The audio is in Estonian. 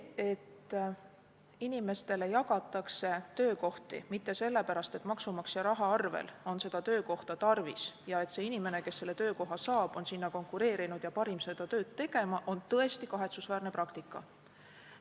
See, et inimestele jagatakse töökohti mitte sellepärast, et seda maksumaksja rahast rahastatavat töökohta on tarvis ja et see inimene, kes selle töökoha saab, on sinna konkureerinud ja on parim seda tööd tegema, on tõesti kahetsusväärne praktika.